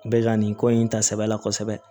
Bɛ ka nin ko in ta sɛbɛ la kosɛbɛ